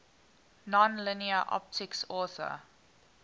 nonlinear optics author